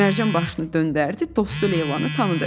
Mərcan başını döndərdi, dostu Leylanı tanıdı.